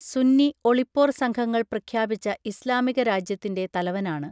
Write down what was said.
സുന്നി ഒളിപ്പോർ സംഘങ്ങൾ പ്രഖ്യാപിച്ച ഇസ്ലാമിക രാജ്യത്തിൻറെ തലവനാണ്